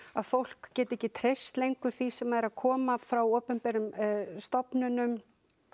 að fólk geti ekki treyst lengur því sem er að koma frá opinberum stofnunum